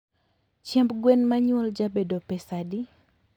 Chiemb gwen manyuol jabedo pesadi?